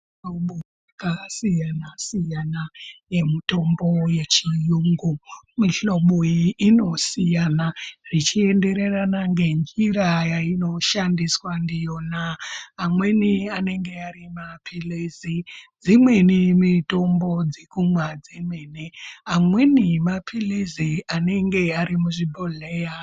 Mihlobo yakasiyana siyana yemitombo yechiyungu mihlobo iyi inosiyana zvichienderana ngenjira yainoshandiswa ndiyona amweni anenge ari mapilizi dzimweni mitombo dzekumwa dzemene amweni mapilizi anenge ari muzvibhodhleya.